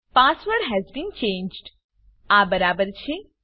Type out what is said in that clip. password has been changed આ બરાબર છે